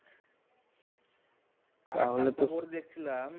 আরেকটা খবর দেখছিলাম